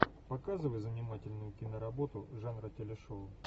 показывай занимательную киноработу жанра телешоу